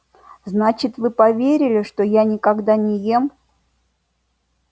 значит вы поверили что я никогда не ем